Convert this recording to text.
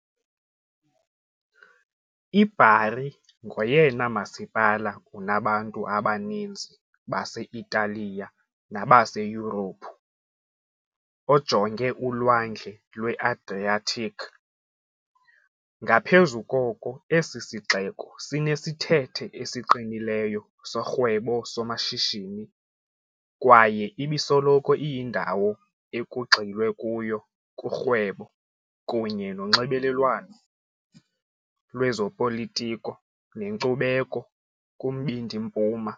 I-Bari ngoyena masipala unabantu abaninzi base-Italiya nabaseYurophu ojonge uLwandle lwe-Adriatic, ngaphezu koko esi sixeko sinesithethe esiqinileyo sorhwebo-somashishini kwaye ibisoloko iyindawo ekugxilwe kuyo kurhwebo kunye nonxibelelwano lwezopolitiko nenkcubeko kuMbindi Mpuma .